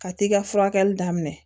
Ka t'i ka furakɛli daminɛ